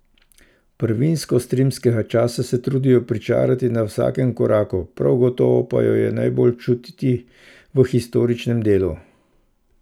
Prvinskost rimskega časa se trudijo pričarati na vsakem koraku, prav gotovo pa jo je najbolj čutiti v Historičnem delu.